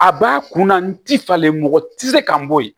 A b'a kunna n ti falen mɔgɔ tɛ se ka n bɔ yen